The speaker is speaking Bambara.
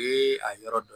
Ee a yɔrɔ dɔn